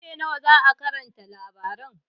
Ƙarfe nawa za'a karanta labaran?